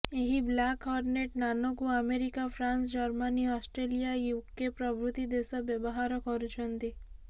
ଏହି Black Hornet Nano କୁ America France Germany Australia UK ପ୍ରଭୃତି ଦେଶ ବ୍ୟବହାର କରୁଛନ୍ତି